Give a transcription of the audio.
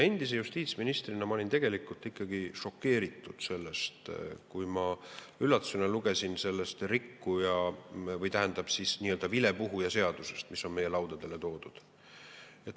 Endise justiitsministrina ma olin tegelikult ikkagi šokeeritud sellest, kui ma üllatusega lugesin sellest nii-öelda vilepuhuja seadusest, mis on meie laudadele toodud.